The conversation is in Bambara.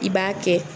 I b'a kɛ